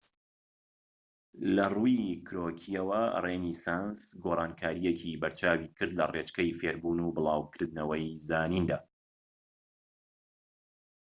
لە ڕووی کرۆکییەوە رێنیسانس گۆڕانکاریەکی بەرچاوی کرد لە ڕێچکەی فێڕبوون و بڵاوکردنەوەی زانیندا